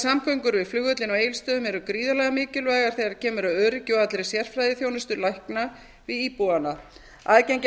við flugvöllinn á egilsstöðum eru gríðarlega mikilvægar þegar kemur að öryggi og allri sérfræðiþjónustu lækna við íbúana aðgengi að